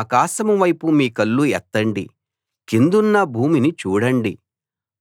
ఆకాశం వైపు మీ కళ్ళు ఎత్తండి కిందున్న భూమిని చూడండి